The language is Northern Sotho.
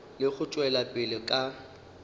le go tšwela pele ka